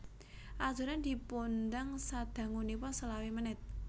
Adonan dipundang sadangunipun selawe menit